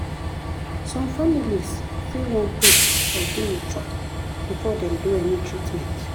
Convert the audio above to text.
some families fit wan pray or do ritual before dem do any treatment.